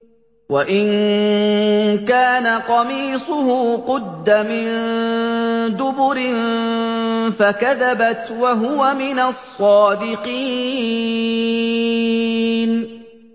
وَإِن كَانَ قَمِيصُهُ قُدَّ مِن دُبُرٍ فَكَذَبَتْ وَهُوَ مِنَ الصَّادِقِينَ